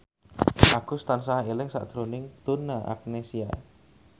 Agus tansah eling sakjroning Donna Agnesia